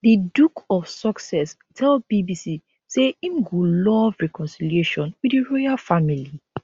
di duke of sussex tell bbc say im go love reconciliation wit di royal family